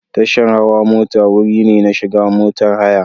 Tashar hawa mota wuri ne na shiga motar haya.